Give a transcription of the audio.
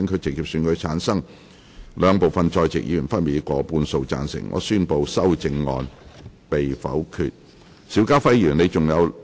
由於議題獲得兩部分在席議員分別以過半數贊成，他於是宣布修正案獲得通過。